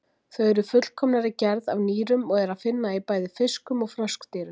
Þau eru fullkomnari gerð af nýrum og er að finna í bæði fiskum og froskdýrum.